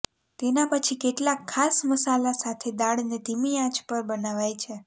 તેના પછી કેટલાક ખાસ મસાલા સાથે દાળને ધીમી આંચ પર બનાવાય છે